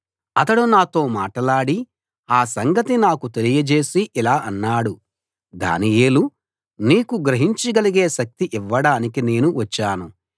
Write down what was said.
అతడు నాతో మాటలాడి ఆ సంగతి నాకు తెలియజేసి ఇలా అన్నాడు దానియేలూ నీకు గ్రహించగలిగే శక్తి ఇవ్వడానికి నేను వచ్చాను